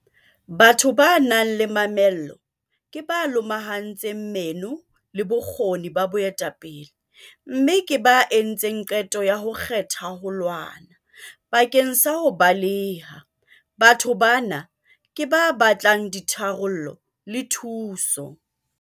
Batho ba nang le mamello ke ba lomahantseng meno le bokgoni ba boetapele, mme ke ba entseng qeto ya ho kgetha 'ho lwana' bakeng sa 'ho baleha'. Batho bana ke ba batlang ditharollo le thuso.